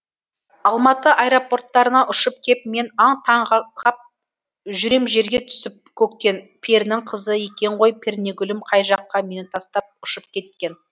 алматы аэропорттарына ұшып кеп мен аң таң ғап жүрем жерге түсіп көктен перінің қызы екен ғой пернегүлім қай жаққа мені тастап ұшып кеткен